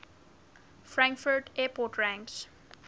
frankfurt airport ranks